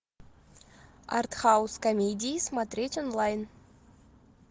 артхаус комедии смотреть онлайн